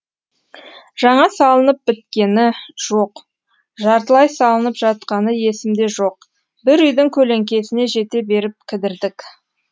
жаңа салынып біткені жоқ жартылай салынып жатқаны есімде жоқ бір үйдің көлеңкесіне жете беріп кідірдік